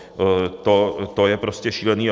To je prostě šílené.